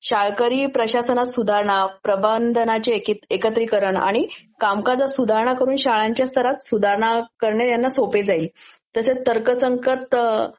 शाळकरी प्रशासनात सुधारणा, प्रबंधनाचे एक..एकत्रिकरण, आणि कामकाजास सुधारणा करून शाळांच्या स्तरांमध्ये सुधारणा करणे ह्यांना सोपे जाईल. तसेच तर्क संगत